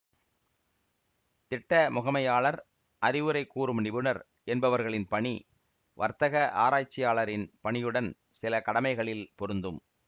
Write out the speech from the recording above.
திட்ட முகமையாளர் அறிவுரை கூறும் நிபுணர் என்பவர்களின் பணி வர்த்தக ஆராய்ச்சியாளரின் பணியுடன் சில கடமைகளில் பொருந்தும்